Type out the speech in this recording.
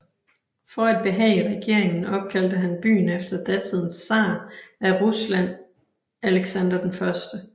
For at behage regeringen opkaldte han byen efter datidens tsar af Rusland Alexander 1